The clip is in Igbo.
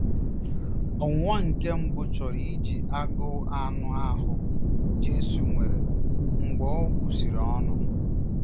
Ọnwụnwa nke mbụ chọrọ iji agụụ anụ ahụ́ Jesu nwere mgbe o busịrị ọnụ.